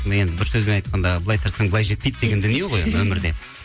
енді бір сөзбен айтқанда былай тартсаң былай жетпейді деген дүние ғой өмірде